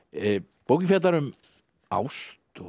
bókin fjallar um ást og